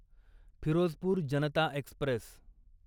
Firozpur Janata Express